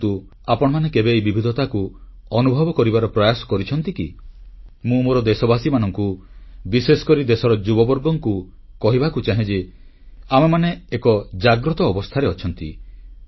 କିନ୍ତୁ ଆପଣମାନେ କେବେ ଏହି ବିବିଧତାକୁ ଅନୁଭବ କରିବାର ପ୍ରୟାସ କରିଛନ୍ତି କି ମୁଁ ମୋର ଦେଶବାସୀମାନଙ୍କୁ ବିଶେଷକରି ଦେଶର ଯୁବବର୍ଗଙ୍କୁ କହିବାକୁ ଚାହେଁ ଯେ ଆମେମାନେ ଏକ ଜାଗ୍ରତ ଅବସ୍ଥାରେ ଅଛୁ